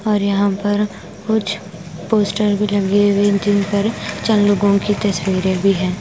और यहां पर कुछ पोस्टर भी लगे हुए जिन पर चार लोगों की तस्वीरें भी हैं।